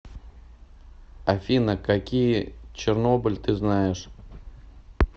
афина какие чернобыль ты знаешь